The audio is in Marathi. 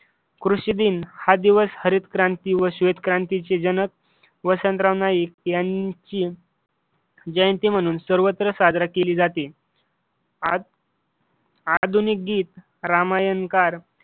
कृषी दिन हा दिवस हरितक्रांती व श्वेतक्रांतीचे जनक वसंतराव नाईक यांची जयंती म्हणून सर्वत्र साजरी केली जाते. आधुनिक गीत रामायणकार